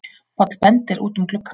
Páll bendir út um gluggann.